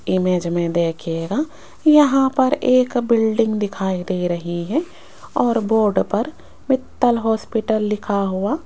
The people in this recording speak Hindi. इमेज में देखिएगा यहां पर एक बिल्डिंग दिखाई दे रही है और बोर्ड पर मित्तल हॉस्पिटल लिखा हुआ --